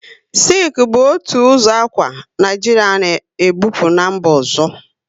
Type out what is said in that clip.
Sịlku bu otu ụzọ akwa, Naijiria na e bupu n'mba ọzọ